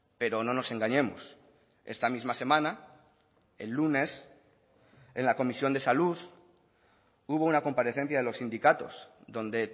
pero no nos engañemos esta misma semana el lunes en la comisión de salud hubo una comparecencia de los sindicatos donde